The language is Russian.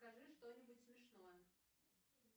скажи что нибудь смешное